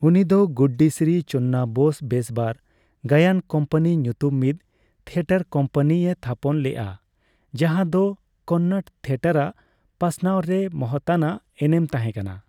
ᱩᱱᱤᱫᱚ ᱜᱩᱵᱵᱤ ᱥᱨᱤ ᱪᱚᱱᱱᱟᱵᱚᱥᱵᱮᱥᱵᱚᱨ ᱜᱟᱭᱟᱱ ᱠᱚᱢᱯᱟᱹᱱᱤ ᱧᱩᱛᱩᱢ ᱢᱤᱫ ᱛᱷᱤᱭᱚᱴᱚᱨ ᱠᱚᱢᱯᱟᱹᱱᱤ ᱮ ᱛᱷᱟᱯᱚᱱ ᱞᱮᱜᱼᱟ ᱡᱟᱸᱦᱟ ᱫᱚ ᱠᱚᱱᱱᱚᱲ ᱛᱷᱤᱭᱚᱴᱚᱨ ᱟᱜ ᱯᱟᱥᱱᱟᱣ ᱨᱮ ᱢᱚᱦᱚᱛᱟᱱᱟᱜ ᱮᱱᱮᱢ ᱛᱟᱦᱮᱸ ᱠᱟᱱᱟ ᱾